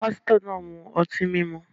Pásítọ̀ náà ń mu ọtí mímu.